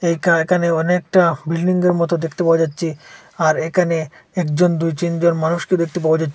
একা একানে অনেকটা বিল্ডিংগের মতো দেখতে পাওয়া যাচ্ছে আর এখানে একজন দুই তিনজন মানুষকে দেখতে পাওয়া যাচ্ছে।